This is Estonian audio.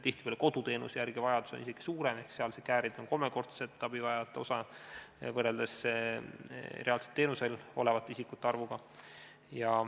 Tihtipeale on vajadus koduteenuse järele isegi suurem ehk seal on käärid kolmekordsed, st abivajajate osa võrreldes reaalselt teenusel olevate isikute arvuga.